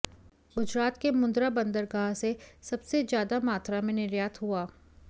गुजरात के मुंद्रा बंदरगाह से सबसे ज्यादा मात्रा में निर्यात हुआ